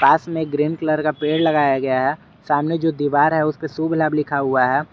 पास में green colour का पेड़ लगाया गया है सामने जो दीवार है उसपे शुभ लाभ लिखा हुआ है।